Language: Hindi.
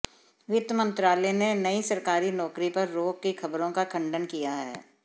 वित्त मंत्रालय ने नई सरकारी नौकरी पर रोक की खबरों का खंडन किया है